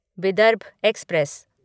Vidarbha express